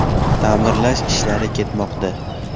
Ta’mirlash ishlari ketmoqda.